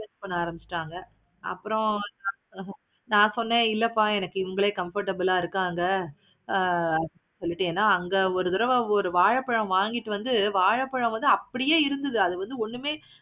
பண்ண ஆரம்பிச்சிட்டாங்க. அப்பறம் நா சொன்னேன் இல்லப்பா எனக்கு இவுங்களே comfortable ஆஹ் இருப்பாங்க. வந்துட்டிங்கனா அங்க ஒரு தடவ வாழைப்பழம் வாங்கிட்டு வந்து வாழைப்பழம் வந்து அப்படியே இருந்தது அது வந்து ஒண்ணுமே